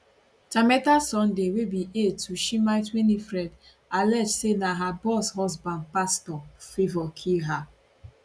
tameta sunday wey be aide to shimite winifred allege say na her boss husband pastor favourkill her